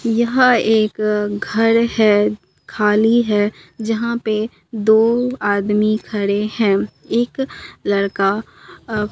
यह एक घर है खाली है जहां पे दो आदमी खड़े हैं एक लड़का--